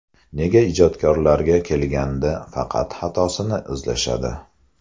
Nega ijodkorlarga kelganda faqat xatosini izlashadi?